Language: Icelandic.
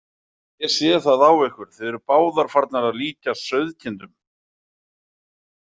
Ég sé það á ykkur, þið eruð báðar farnar að líkjast sauðkindum.